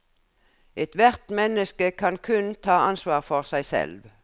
Ethvert menneske kan kun ta ansvar for seg selv.